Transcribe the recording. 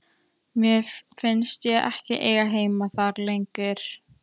Mér fannst ég ekki eiga heima þar lengur.